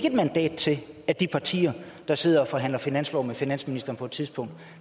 et mandat til at de partier der sidder og forhandler finanslov med finansministeren på et tidspunkt